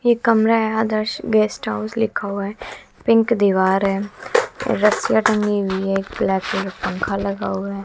एक कमरा है आदर्श गेस्ट हाउस लिखा हुआ है पिंक दीवार है रसिया टंगी हुई है एक ब्लैक कलर पंखा लगा हुआ है।